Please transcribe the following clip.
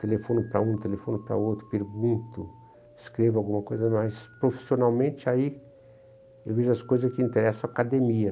Telefono para um, telefono para outro, pergunto, escrevo alguma coisa, mas profissionalmente aí eu vejo as coisas que interessam a academia.